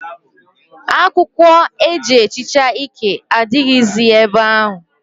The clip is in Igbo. Akw ụkwọ eji ehicha ike adịghịzị ebe ahụ.